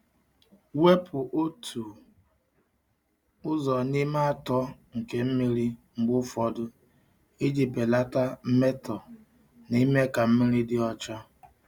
Wepụ otu ụzọ n’ime atọ nke mmiri mgbe ụfọdụ iji belata mmetọ na ime ka mmiri dị ọcha.